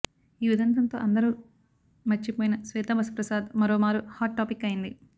ఈ ఉదంతంతో అందరూ మర్చిపోయిన శ్వేతాబసు ప్రసాద్ మరోమారు హాట్ టాపిక్ అయ్యింది